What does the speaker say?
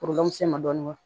dɔɔnin